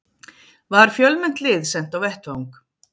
Var fjölmennt lið sent á vettvang